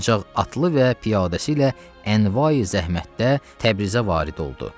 Ancaq atlı və piyadəsi ilə ənva zəhmətdə Təbrizə varid oldu.